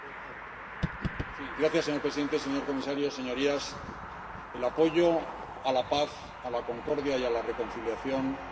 Señor presidente, señor comisario, señorías, el apoyo a la paz, a la concordia y a la reconciliación es una política honrosa.